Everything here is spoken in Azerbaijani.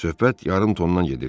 Söhbət yarım tondan gedirdi.